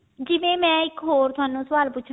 ਜਿਦਾਂ ਮੈਂ ਥੋਨੂੰ ਇੱਕ ਹੋਰ ਸਵਾਲ ਪੁੱਛਣਾ